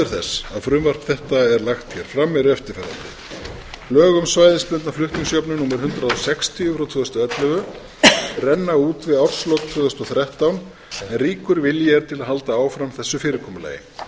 þess að frumvarp þetta er lagt hér fram eru eftirfarandi lög um svæðisbundna flutningsjöfnun númer hundrað sextíu tvö þúsund og ellefu renna út í árslok tvö þúsund og þrettán en ríkur vilji er til að halda áfram þessu fyrirkomulagi